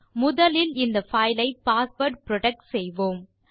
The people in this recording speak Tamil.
முதலில் இந்த பைல் ஐ பாஸ்வேர்ட் புரொடெக்ட் செய்வோம்